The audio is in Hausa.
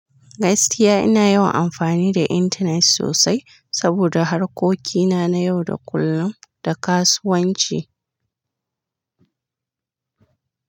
Gaskiya ina yawan amfani da intanet sosai saboda harkokina na yau da kullum da kasuwanci.